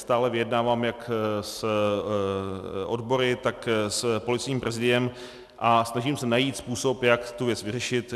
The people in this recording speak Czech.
Stále vyjednávám jak s odbory, tak s Policejním prezidiem a snažím se najít způsob, jak tu věc vyřešit.